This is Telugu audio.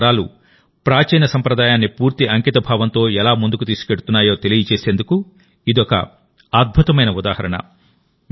వివిధ తరాలు ప్రాచీన సంప్రదాయాన్నిపూర్తి అంకితభావంతోఎలా ముందుకు తీసుకెళ్తున్నాయో తెలియజేసేందుకు ఇదొక అద్భుతమైన ఉదాహరణ